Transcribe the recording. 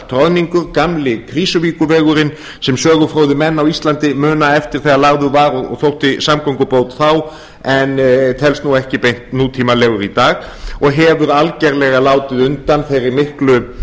troðningur gamli krýsuvíkurvegurinn sem sögufróðir menn á íslandi muna eftir þegar lagður var og þótti samgöngubót þá en telst nú ekki beint nútímalegur í dag og hefur algjörlega látið undan þeirri miklu